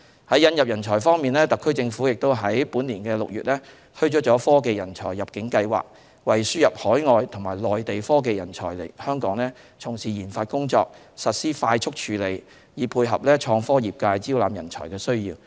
在引入人才方面，特區政府於本年6月推出了"科技人才入境計劃"，為輸入海外和內地科技人才來港從事研發工作實施快速處理，以配合創科業界招攬人才的需要。